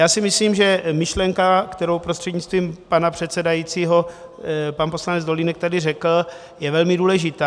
Já si myslím, že myšlenka, kterou prostřednictvím pana předsedajícího pan poslanec Dolínek tady řekl, je velmi důležitá.